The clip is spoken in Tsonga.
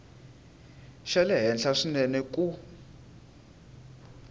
xa le henhla swinene ku